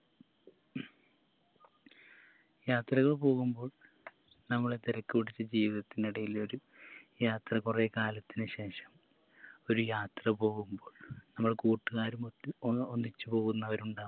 യാത്രകൾ പോകുമ്പോൾ നമ്മളെ തിരക്ക് പിടിച്ച ജീവിതത്തിനിടയിൽ ഒരു യാത്ര കൊറേ കാലത്തിന് ശേഷം ഒരു യാത്ര പോവുമ്പോൾ നമ്മൾ കൂട്ടുകാരുമൊത്ത് ഒന്ന് ഒന്നിച്ച് പോവുന്നവരുണ്ടാകാം